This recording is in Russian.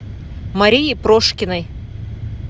марии прошкиной